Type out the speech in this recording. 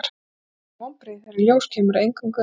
Það verða henni því vonbrigði þegar í ljós kemur að eingöngu